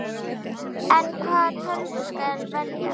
En hvaða tölvu skal velja?